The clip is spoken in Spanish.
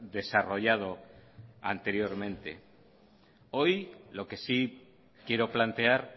desarrollado anteriormente hoy lo que sí quiero plantear